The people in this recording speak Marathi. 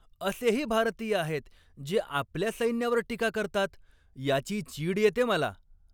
असेही भारतीय आहेत जे आपल्या सैन्यावर टीका करतात याची चीड येते मला.